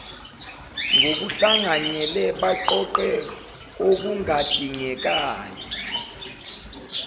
ngokuhlanganyele baqoqe okungadingekayo